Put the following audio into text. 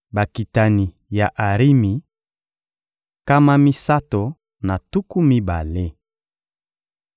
Bakitani ya Arimi: nkama misato na tuku mibale.